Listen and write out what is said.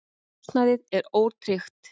Húsnæðið er ótryggt.